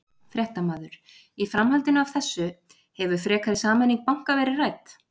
Fréttamaður: Í framhaldinu af þessu hefur frekari sameining banka verið rædd?